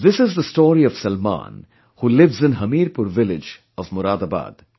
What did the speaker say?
This is the story of Salman who lives in Hamirpur village of Moradabad